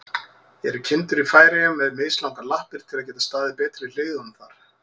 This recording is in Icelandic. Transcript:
Eru kindur í Færeyjum með mislangar lappir, til að geta staðið betur í hlíðunum þar?